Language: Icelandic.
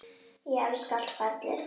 Ég elska allt ferlið.